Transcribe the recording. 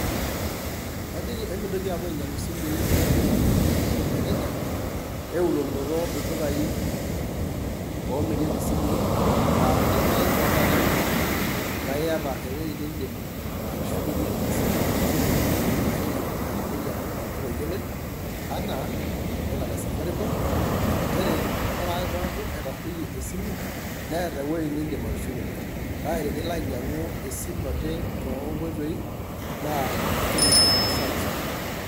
Kajoki emintoki aapuo ainyiang'u isimuui ake naamiri erejareja, eulokinoto ildukaai oomirieki isimuui laa tenelo naai metaa ketarruoyie naa iyata ewuei niindim atushukuny'ie ina simu, nchere ashuk amu etarruoeyie amu olduka oyioloi enaa le Safaricom, nchere ake pee eku etarruoyie esimu neeta ewueji niindim atushukoki. Kake tenilo ainyiang'u esimu ake toonkoitoi naa itum naa asara sapuk.